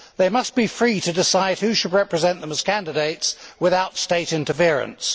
they must be free to decide who should represent them as candidates without state interference.